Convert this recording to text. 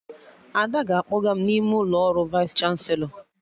Ada ga-akpọga m n'ime ụlọ ọrụ Vaịs chanselọ